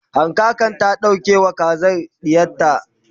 hankaka ta ɗauke wa kazar ɗiyarta